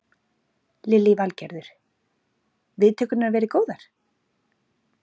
Lillý Valgerður: Viðtökurnar verið góðar?